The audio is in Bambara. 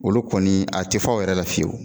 Olu kɔni a te fa o yɛrɛ la fiyewu